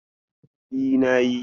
E, na yi.